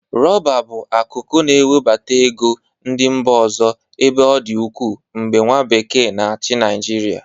Rọba bụ akụkụ na-ewebata ego ndị mba ọzọ ebe ọ dị ụkwụ mgbe nwa bekee n'achị Nịajịrịa.